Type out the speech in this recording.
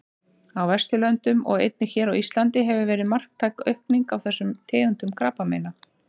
Á Vesturlöndum og einnig hér á Íslandi hefur verið marktæk aukning á þessum tegundum krabbameina.